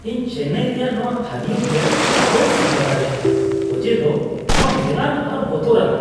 ᱤᱧ ᱪᱮᱱᱱᱟᱭ ᱨᱮᱭᱟᱜ ᱱᱚᱶᱟ ᱛᱷᱟᱹᱱᱤᱭᱚ ᱵᱤᱭᱟᱨ ᱵᱟᱹᱧ ᱥᱟᱦᱟᱣ ᱫᱟᱲᱮᱭᱟᱜᱼᱟ ᱚᱡᱮᱫᱚ ᱱᱚᱶᱟ ᱢᱮᱞᱟᱱ ᱟᱨ ᱵᱚᱛᱚᱨᱟᱱᱟᱜ ᱾